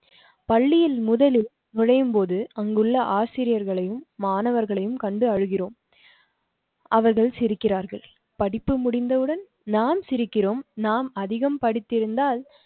பள்ளியில் முதலில் நுழையும்போது அங்குள்ள ஆசிரியர்களையும் மாணவர்களையும் கண்டு அழுகிறோம் அவர்கள் சிரிக்கிறார்கள். படிப்பு முடிந்தவுடன் நாம் சிரிக்கிறோம். நாம் அதிகம் படித்து இருந்தால்